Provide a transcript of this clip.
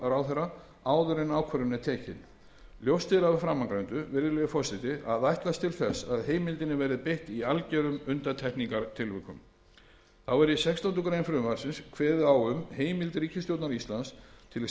en ákvörðun er tekin ljóst er af framangreindu virðulegi forseti að ætlast er til þess að heimildinni verði beitt í algerum undantekningartilvikum þá er í sextándu grein frv kveðið á heimild ríkisstjórnar íslands til samningagerðar